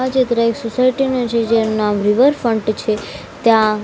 આ ચિત્ર એક સોસાયટી નું છે જેનું નામ રિવર ફન્ટ છે ત્યાં--